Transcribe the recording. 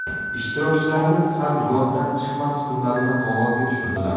Ishtirokchilarimiz ham yoddan chiqmas kunlarini qog‘ozga tushirdilar.